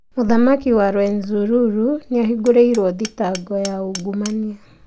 Mũthamaki wa Rwenzururu nĩambingũrìtwe mashtaka ma ungumania